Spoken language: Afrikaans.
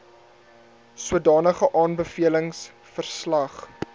sodanige aanbevelings verslag